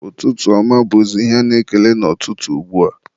ụtụtụ ọma bụzị ihe a na-ekele n'ụtụtụ ugbua.